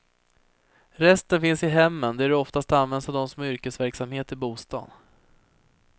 Resten finns i hemmen, där de oftast används av dem som har yrkesverksamhet i bostaden.